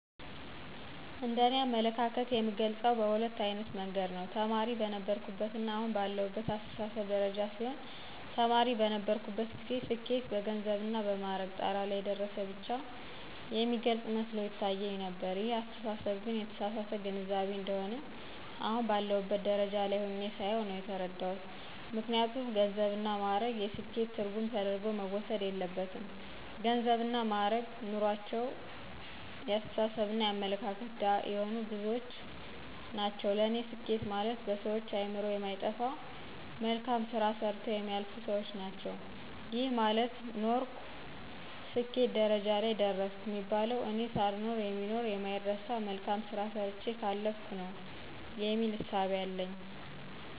እንደ እኔ አመለካከት የምገልጸው በሁለት አይነት መንገድ ነው። ተማሪ በነበርሁበትና አሁን ባለሁበት አስተሳሰብ ደረጃ ሲሆን ተማሪ በነበርሁበት ጊዜ ስኬት በገንዘብና በማዕረግ ጣራ ላይ የደረሰ ብቻ የሚገልፅ መስሎ ይታየኝ ነበር ይህን አስተሳሰብ ግን የተሳሳተ ግንዛቤ እንደሆነ አሁን ባለሁበት ደረጃ ላይ ሁኘ ሳየው ነው የተረዳሁት። ምክንያቱም ገንዘብና ማእረግ የስኬት ትርጉም ተደርጎ መወሰድ የለበትም ገንዘብና ማእረግ ኑሮአቸው የአስተሳሰብና የአመለካከት ድሀ የሆኑ ብዙዎች ናቸው ለኔ ስኬት ማለት በሰዎች አእምሮ የማይጠፋ መልካም ስራ ሰርተው የሚያልፉ ሰዎች ናቸው። ይሄ ማለት ኖርሁ ስኬት ደረጃ ላይ ደረሰሁ የሚባለው እኔ ሳልኖር የሚኖር የማይረሳ መልካም ስራ ሰርቸ ካለፍሁ ነው የሚል እሳቤ አለኝ።